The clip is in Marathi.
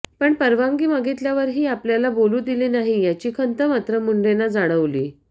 पण परवानगी मागितल्यावरही आपल्याला बोलू दिलं नाही याची खंत मात्र मुंढेंना जाणवली